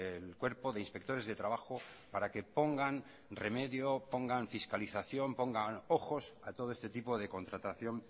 el cuerpo de inspectores de trabajo para que pongan remedio pongan fiscalización pongan ojos a todo este tipo de contratación